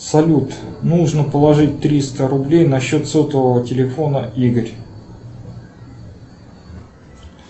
салют нужно положить триста рублей на счет сотового телефона игорь